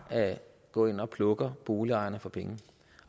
går ind og plukker boligejerne for penge